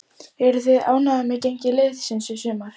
Eruð þið ánægðir með gengi liðsins í sumar?